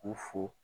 U fo